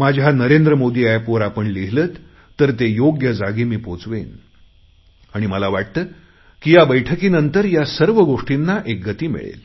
माझ्या नरेंद्र मोदी एपवर आपण हे लिहीलंत तर ते योग्य जागी मी पोचवेन आणि मला वाटते की या बैठकीनंतर या सर्व गोष्टींना एक गती मिळेल